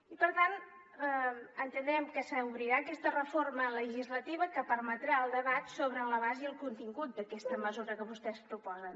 i per tant entenem que s’obrirà aquesta reforma legislativa que permetrà el debat sobre l’abast i el contingut d’aquesta mesura que vostès proposen